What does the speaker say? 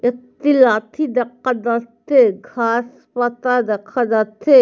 একটি লাথি দেকা যাচ্ছে-এ ঘাস পাতা দেখা যাচ্ছে।